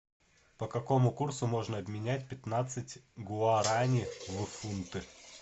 по какому курсу можно обменять пятнадцать гуарани в фунты